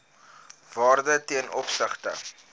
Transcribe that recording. waarde ten opsigte